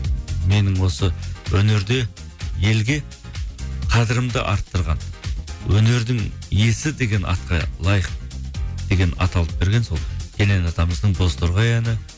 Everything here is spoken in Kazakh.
менің осы өнерде елге қадырымды арттырған өнердің иесі деген атқа лайық деген ат алып берген сол кенен атамыздың бозторғай әні